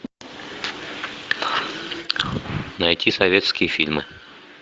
найти советские фильмы